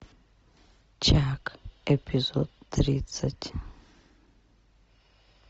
чак эпизод тридцать